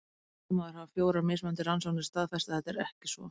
Samt sem áður hafa fjórar mismunandi rannsóknir staðfest að þetta er ekki svo.